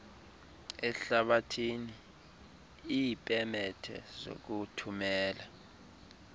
ehlabathi iipemethe zokuthumela